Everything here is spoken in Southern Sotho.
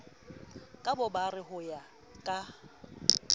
ka bobare ho ya ka